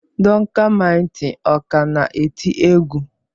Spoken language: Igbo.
Duncan mighty ọ ka na-eti egwu?